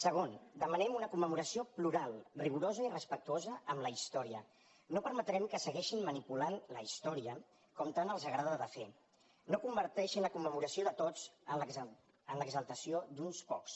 segon demanem una commemoració plural rigorosa i respectuosa amb la història no permetrem que segueixin manipulant la història com tant els agrada de fer no converteixin la commemoració de tots en l’exaltació d’uns pocs